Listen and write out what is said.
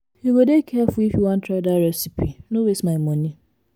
you go dey careful if you wan try dat recipe no waste my moni.